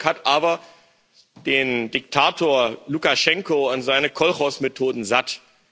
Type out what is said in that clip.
Dieses Volk hat aber den Diktator Lukaschenko und seine Kolchosmethoden satt.